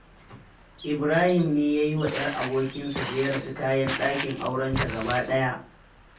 Ibrahim ne ya yiwa 'yar abokinsa da ya rasu kayan ɗakin aurenta gaba ɗaya.